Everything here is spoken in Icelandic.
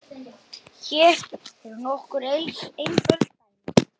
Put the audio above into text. Hér eru nokkur einföld dæmi